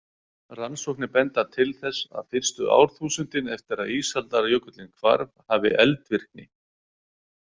Rannsóknir benda til þess að fyrstu árþúsundin eftir að ísaldarjökullinn hvarf hafi eldvirkni.